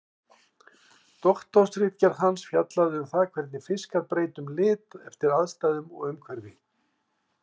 Doktorsritgerð hans fjallaði um það hvernig fiskar breyta um lit eftir aðstæðum og umhverfi.